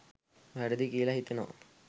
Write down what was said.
වැරදියි කියල හිතෙනවා